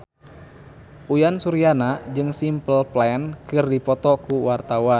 Uyan Suryana jeung Simple Plan keur dipoto ku wartawan